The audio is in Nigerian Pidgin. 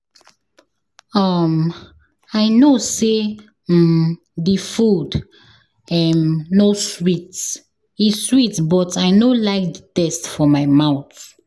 um I no say um the food um no sweet, e sweet but I no like the taste for my mouth